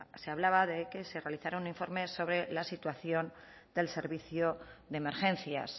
se hablaba de que se realizara un informe sobre la situación del servicio de emergencias